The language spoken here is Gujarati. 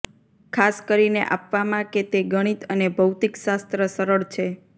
ખાસ કરીને આપવામાં કે તે ગણિત અને ભૌતિકશાસ્ત્ર સરળ છે